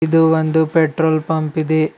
ಇದು ಒಂದು petrol pump ಇದೆ.